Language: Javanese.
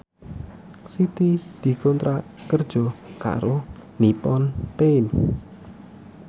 Siti dikontrak kerja karo Nippon Paint